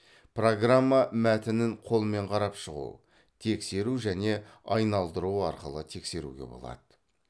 программа мәтінін қолмен қарап шығу тексеру және айналдыру арқылы тексеруге болады